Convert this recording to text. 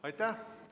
Aitäh!